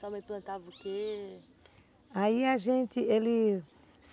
Sua mãe plantava o quê? Aí a gente... Eles...